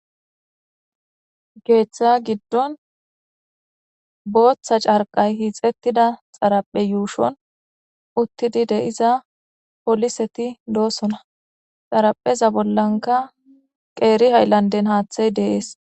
Geeththa giddon booththa carqay hiixettida xaraphe yuushon uttidi deiza poliseti doosona xarapheza bollanka qeeri hayllanden haaththey deees.